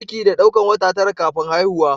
Cikin da daukar wata tara (9) kafin haihuwa.